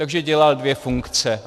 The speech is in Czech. Takže dělal dvě funkce.